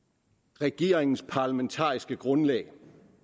regeringens parlamentariske grundlag